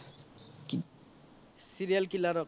serial killer ৰ